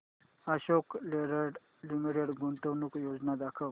Ashok Leyland limited गुंतवणूक योजना दाखव